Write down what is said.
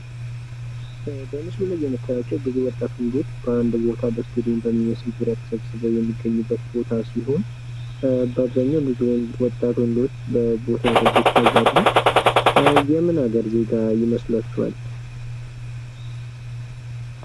በምስሉ ላይ የምታዩአቸው ብዙ ወጣት ወንዶች በአንድ ቦታ በስታዲየም በሚመስል ቦታ ተሰብስበው የሚገኙበት ቦታ ሲሆን በአብዛኛው ብዙ ወጣት ወንዶች ቦታው ላይ ይታያሉ። የምን ሀገር ዜጋ ይመስሏችኋል።